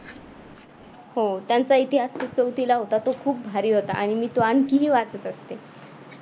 त्यांचा इतिहास जो चौथीला होता तो खूप भारी होता आणि आणि तुम्ही आणखी वाचत असे.